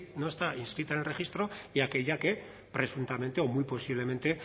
no está inscrita en el registro y aquella que presuntamente o muy posiblemente